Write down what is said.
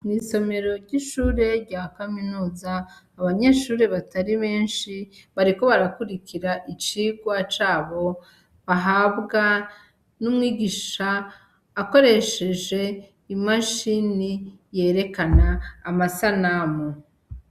Mwi somero ry' ishure rya kaminuza abanyeshure batari benshi bariko barakurikira icigwa cabo bahabwa n' umwigisha akoresheje imashini yerekana amasanamu.